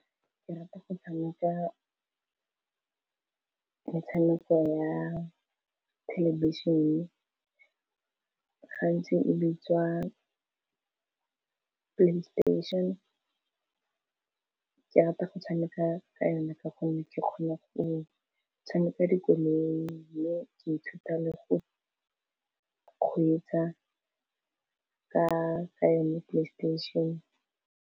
Ke rata go tshameka metshameko ya thelebišene gantsi e bitswa playstation, ke rata go tshameka ka yone ka gonne ke kgona go tshameka dikoloi, mme ke ithuta le go kgweetsa ka yone playstation.